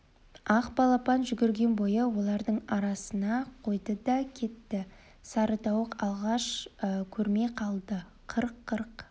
ақ балапан жүгірген бойы олардың арасына қойды да кетті сары тауық алғаш көрмей қалды қырқ қырқ